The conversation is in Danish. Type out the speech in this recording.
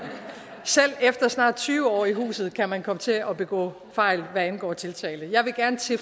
selv efter snart tyve år i huset kan man komme til at begå fejl hvad angår tiltale jeg vil gerne til